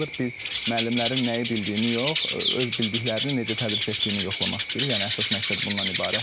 Biz müəllimlərin nəyi bildiyini yox, öz bildiklərini necə tədris etdiyini yoxlamaq istəyirik, yəni əsas məqsəd bundan ibarətdir.